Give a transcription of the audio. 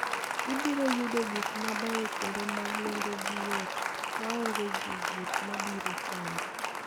Ibiro yudo gik mabeyo kendo ma nengogi yot, maonge jowuoth ma biro chandi.